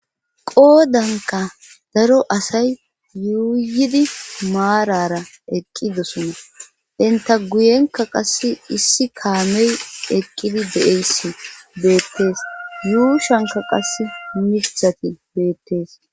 Qoodanka daro asay yuuyidi maarara eqqidosona enta guyenka qass issi kaamey eqqidi de7eyssi beettees yuushanka qas mirthati beettees.